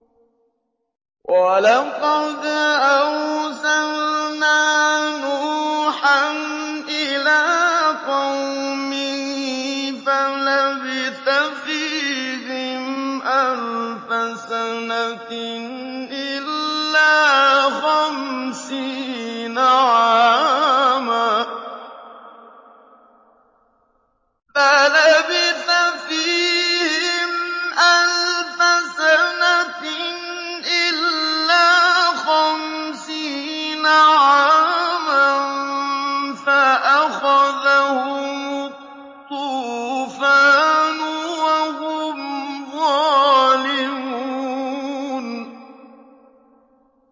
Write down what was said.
وَلَقَدْ أَرْسَلْنَا نُوحًا إِلَىٰ قَوْمِهِ فَلَبِثَ فِيهِمْ أَلْفَ سَنَةٍ إِلَّا خَمْسِينَ عَامًا فَأَخَذَهُمُ الطُّوفَانُ وَهُمْ ظَالِمُونَ